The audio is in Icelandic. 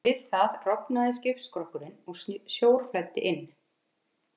Við það rofnaði skipsskrokkurinn og sjór flæddi inn.